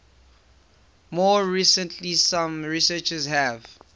more recently some researchers have